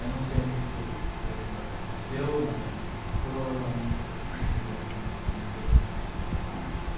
Eu não sei muito como isso aconteceu, mas provavelmente porque eu não me dei não não me dei muito com a matemática.